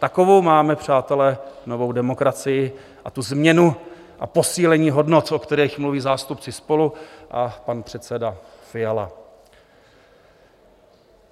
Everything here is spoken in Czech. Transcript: Takovou máme, přátelé, novou demokracii a tu změnu a posílení hodnot, o kterých mluví zástupci SPOLU a pan předseda Fiala.